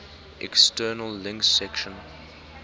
external links section